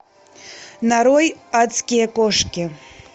нарой адские кошки